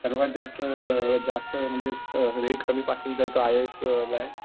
सर्वात जास्त जास्त म्हणजे रेट कमी पासिंगचा आहे तो आय ए एसला आहे